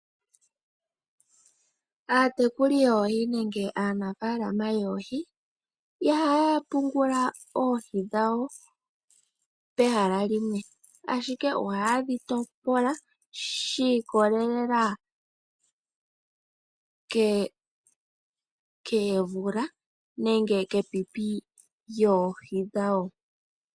Aatekuli yoohii nenge aanafalama yoohii ihayapungula oohii dhawo pehala limwe ashike oha dhitopola shikolelela kevula nenge kepipi lyoohii dhawo.